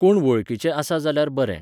कोण वळखीचे आसा जाल्यार बरें.